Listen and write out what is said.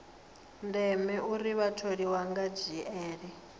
ndeme uri vhatholiwa vha dzhiele